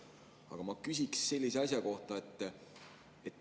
Aga ma küsin sellise asja kohta.